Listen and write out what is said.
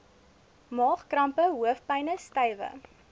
maagkrampe hoofpyne stywe